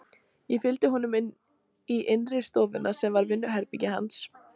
Ég fylgdi honum í innri stofuna sem var vinnuherbergi hans.